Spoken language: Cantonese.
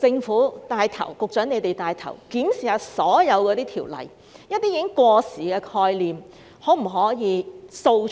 可否由一眾局長帶頭檢視所有條例，掃除一些已過時的概念？